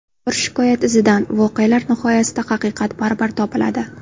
Bir shikoyat izidan Voqealar nihoyasida haqiqat baribir topiladi.